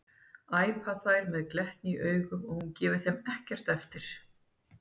æpa þær með glettni í augunum og hún gefur þeim ekkert eftir.